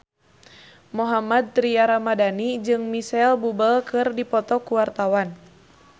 Mohammad Tria Ramadhani jeung Micheal Bubble keur dipoto ku wartawan